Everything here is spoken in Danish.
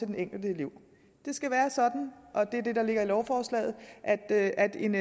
den enkelte elev det skal være sådan og det er det der ligger i lovforslaget at at en